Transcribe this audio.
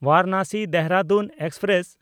ᱵᱟᱨᱟᱱᱟᱥᱤ–ᱫᱮᱦᱨᱟᱫᱩᱱ express